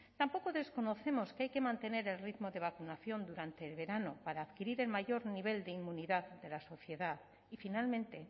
tampoco desconocemos que hay que mantener el ritmo de vacunación durante el verano para adquirir el mayor nivel de inmunidad de la sociedad y finalmente